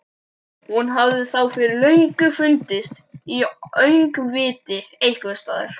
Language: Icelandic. Hún hefði þá fyrir löngu fundist í öngviti einhvers staðar.